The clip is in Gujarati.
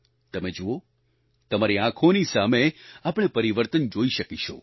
તમે જુઓ તમારી આંખોની સામે આપણે પરિવર્તન જોઈ શકીશું